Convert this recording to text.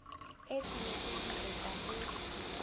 e tshwanetse ho etswa ho